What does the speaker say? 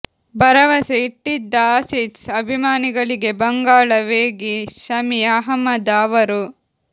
ಭರವಸೆ ಇಟ್ಟಿದ್ದ ಆಸೀಸ್ ಅಭಿಮಾನಿಗಳಿಗೆ ಬಂಗಾಳ ವೇಗಿ ಶಮಿ ಅಹ್ಮದ ಅವರು